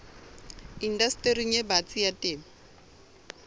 indastering e batsi ya temo